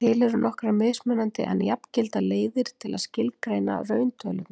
Símon Birgisson: Er ekki bara gott að losa frá sér bara dót?